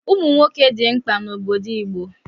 Ụmụ nwoke dị mkpa n'obodo Igbo